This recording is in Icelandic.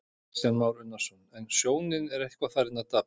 Kristján Már Unnarsson: En sjónin er eitthvað farin að daprast?